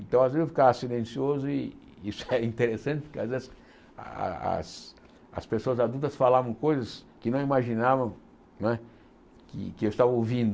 Então, às vezes eu ficava silencioso e isso era interessante, porque às vezes as as pessoas adultas falavam coisas que não imaginavam não é que que eu estava ouvindo.